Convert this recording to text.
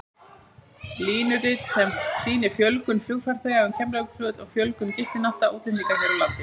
Línurit sem sýnir fjölgun flugfarþega um Keflavíkurflugvöll og fjölgun gistinátta útlendinga hér á landi.